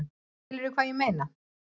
Skilurðu hvað ég meina?